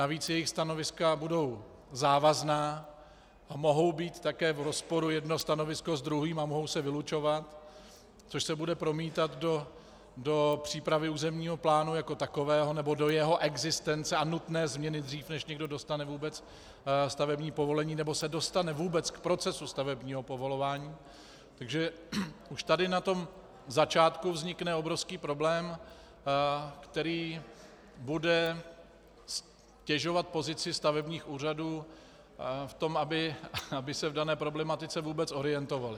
Navíc jejich stanoviska budou závazná a mohou být také v rozporu jedno stanovisko s druhým a mohou se vylučovat, což se bude promítat do přípravy územního plánu jako takového nebo do jeho existence a nutné změny dřív, než někdo dostane vůbec stavební povolení nebo se dostane vůbec k procesu stavebního povolování, takže už tady na tomto začátku vznikne obrovský problém, který bude ztěžovat pozici stavebních úřadů v tom, aby se v dané problematice vůbec orientovaly.